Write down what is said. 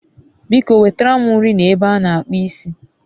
biko nwetara m nri na ebe a n'akpụ isi